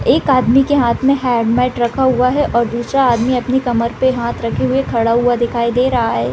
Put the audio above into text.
एक आदमी के हाथ में हेलमेट रखा हुआ है और दूसरा आदमी अपनी कमर पे हाथ रखे हुए खड़ा हुआ दिखाई दे रहा है |